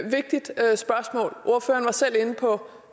vigtigt spørgsmål ordføreren var selv inde på